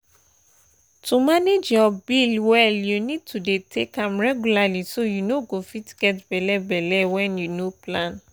to manage your pill well you need to dey take am regularly so you no go fit get belle belle when you no plan.